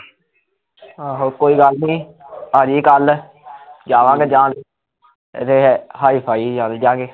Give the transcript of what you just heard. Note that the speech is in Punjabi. ਆਹੋ ਕੋਈ ਗੱਲ ਨੀ, ਆਜੀ ਕੱਲ ਜਾਵਾਂਗੇ ਜਾਨ ਫੇਰ hi phi ਹੀਂ ਚਲਜਾਂਗੇ